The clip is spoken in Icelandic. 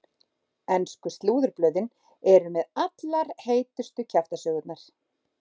Ensku slúðurblöðin eru með allar heitustu kjaftasögurnar.